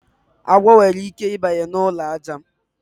Agwọ nwere ike I banye na ụlọ aja.